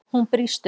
Hún brýst um.